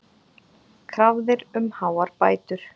Krafðir um háar bætur